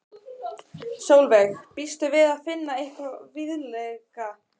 Sólveig: Býstu við að finna eitthvað viðlíka hér?